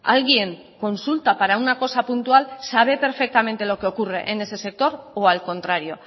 alguien consulta para una cosa puntual sabe perfectamente lo que ocurre en ese sector o al contrario